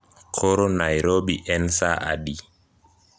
Koro nairobi en saa adi